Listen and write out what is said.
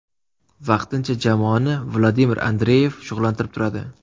Vaqtincha jamoani Vladimir Andreyev shug‘ullantirib turadi.